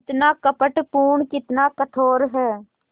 कितना कपटपूर्ण कितना कठोर है